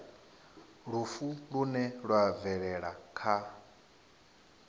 lufu lune lwa bvelela kha